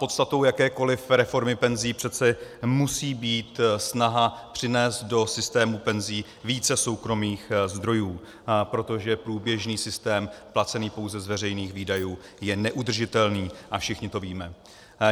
Podstatou jakékoliv reformy penzí přece musí být snaha přinést do systému penzí více soukromých zdrojů, protože průběžný systém placený pouze z veřejných výdajů je neudržitelný, a všichni to víme.